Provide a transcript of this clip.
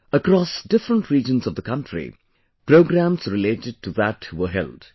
Across different regions of the country, programmes related to that were held